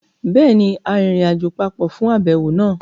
Béèni, a rìnrìnàjò papọ̀ fún àbẹ̀wò náà